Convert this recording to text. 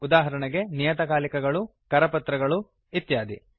ಉದಾಹರಣೆಗೆ ನಿಯತಕಾಲಿಕಗಳು ಕರಪತ್ರಗಳು ಇತ್ಯಾದಿ